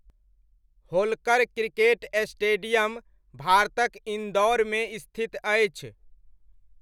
Holkar cricket stadium भारतक इन्दौरमे स्थित अछि।